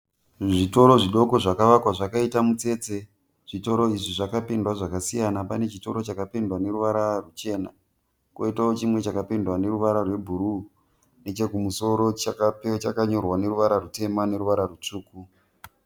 Zvitoro zviduku zvakavakwa zvakaita mutsetse. Zvitoro izvi zvakapedzwa zvakasiya. Pane chitoro chakapfendwa neruvara ruchena, koitawo chimwe chakapendwa neruvara rwebhuruwu nechekumusoro chakanyorwa neruvara rutema neruvara rwutsvuku.